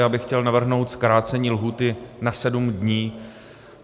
Já bych chtěl navrhnout zkrácení lhůty na sedm dní.